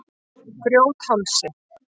Grjóthálsi